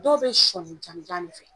Dɔw bɛ sɔni jamujan de fɛ